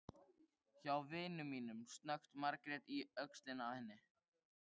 Erfðaefni tvílitna tegunda ber yfirleitt vott um mikinn breytileika.